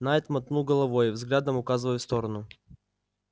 найд мотнул головой взглядом указывая в сторону